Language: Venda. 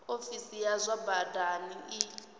ofisi ya zwa badani i